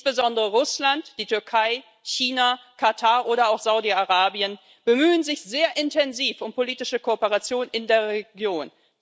Insbesondere Russland, die Türkei, China, Katar oder auch Saudi Arabien bemühen sich sehr intensiv um politische Kooperation in der Region.